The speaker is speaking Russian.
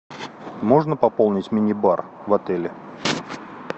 можно пополнить мини бар в отеле